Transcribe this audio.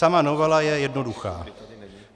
Sama novela je jednoduchá.